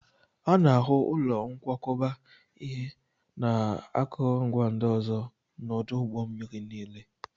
A na-ahụ ụlọ nkwakọba ihe na akụrụngwa ndị ọzọ n'ọdụ ụgbọ mmiri niile